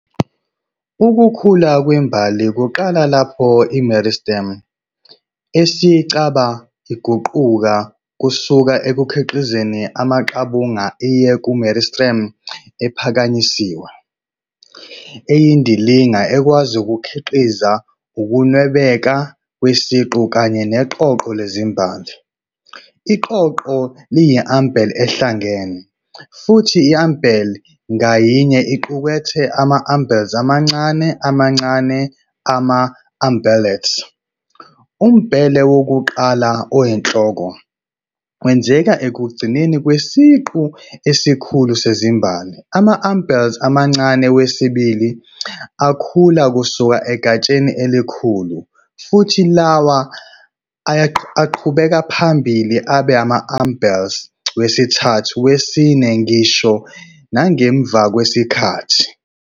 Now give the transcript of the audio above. Ukukhula kwembali kuqala lapho i- meristem eyisicaba iguquka kusuka ekukhiqizeni amaqabunga iye ku-meristem ephakanyisiwe, eyindilinga ekwazi ukukhiqiza ukunwebeka kwesiqu kanye neqoqo lezimbali. Iqoqo liyi- umbel ehlangene, futhi i-umbel ngayinye iqukethe ama-umbels amancane amancane, ama-umbellets. Umbele wokuqala, oyinhloko wenzeka ekugcineni kwesiqu esikhulu sezimbali, ama-umbels amancane wesibili akhula kusuka egatsheni elikhulu, futhi lawa aqhubekela phambili abe ama-umbels wesithathu, wesine, ngisho nangemva kwesikhathi.